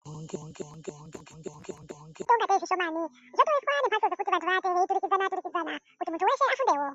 Munge munge munge munge munge munge Ngatei zvishomani zvakaitwe ngebato rekuti vantu vange veiturukidzana turukidzana kuti muntu weshe afundewo.